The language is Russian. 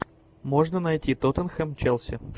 можно найти тоттенхэм челси